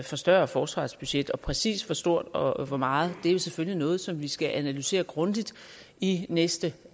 forstørre forsvarsbudgettet præcis hvor stort og hvor meget er selvfølgelig noget som vi skal analysere grundigt i næste